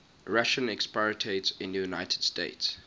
russian expatriates in the united states